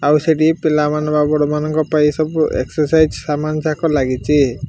ଆଉ ସେଠି ପିଲାମାନଙ୍କ ଆପଣମାନଙ୍କ ପାଇଁ ସବୁ ଏକ୍ସାର୍ସାଇଜ୍ ସାମାନ ଯାକ ଲାଗିଚି।